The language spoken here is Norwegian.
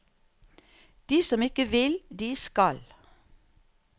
De som ikke vil, de skal.